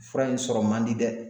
Fura in sɔrɔ man di dɛ